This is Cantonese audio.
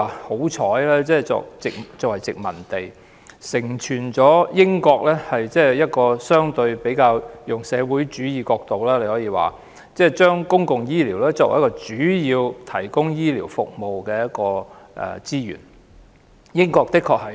香港曾經作為殖民地，我們可以說是相當幸運，因為承傳了英國相對以較社會主義的角度，把公共醫療作為主要提供醫療服務的資源。